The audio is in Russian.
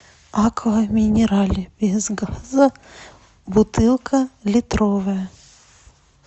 аква минерале без газа бутылка литровая